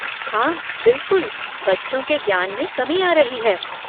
हाँ, बिलकुल, बच्चों के ज्ञान में कमी आ रही है।